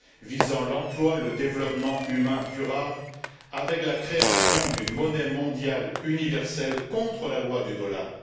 visant l'emploi, le développement humain durable, avec la création d'une monnaie mondiale universelle contre la loi du dollar.